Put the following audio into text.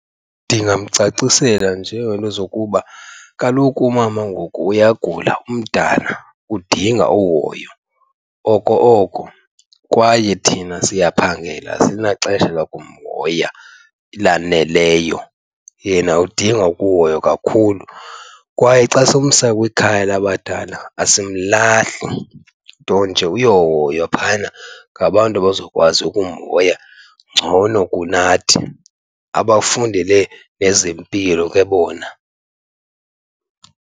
Ndingamcacisela njengeento zokuba kaloku umama ngoku uyagula umdala, udinga uhoyo oko oko. Kwaye thina siyaphangela asinaxesha lakumhoya elaneleyo, yena udinga ukuhoywa kakhulu. Kwaye xa simsa kwikhaya labadala asimlahli nto nje uyohoywa phayana ngabantu abazokwazi umhoya ngcono kunathi, abafundele nezempilo ke bona.